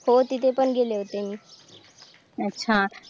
हो तिथे पण गेले होते मी अच्छा